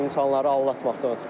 İnsanları aldatmaqdan ötrü.